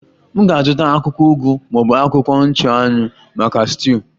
M ga-azụta akwụkwọ ugu ma ọ bụ akwụkwọ nchụanwụ maka stuuyu?